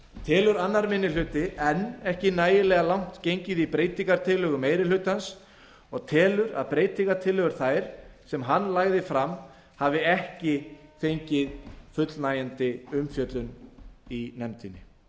telur annar minni hluti enn ekki nægilega langt gengið í breytingartillögum meiri hlutans og telur að breytingartillögur þær sem hann lagði fram hafi ekki fengið fullnægjandi umfjöllun í nefndinni